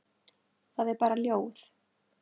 Það er bara ljóð.